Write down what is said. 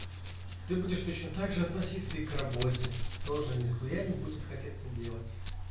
ты будешь точно так же относится и к работе тоже нехуя не будет хотеться делать